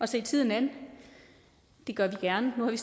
se tiden an det gør vi gerne nu har vi